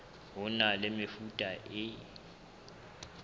ho na le mefuta e